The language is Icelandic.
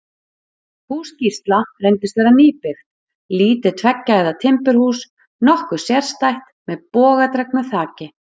Hús Gísla reyndist vera nýbyggt, lítið tveggja hæða timburhús, nokkuð sérstætt, með bogadregnu þaki.